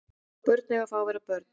Börn eiga að fá að vera börn